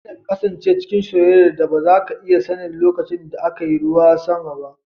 Kada ka kasance cikin soyayyar da ba za ka iya sanin lokacin da aka yi ruwan sama ba